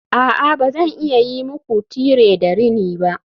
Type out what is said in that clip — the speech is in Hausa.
A'a ba zan iya yi muku tire da rini ba